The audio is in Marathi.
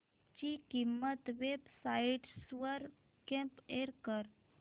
ची किंमत वेब साइट्स वर कम्पेअर कर